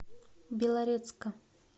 белорецка